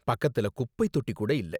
பக்கத்துல குப்பைத் தொட்டி கூட இல்ல.